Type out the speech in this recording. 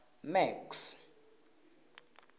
max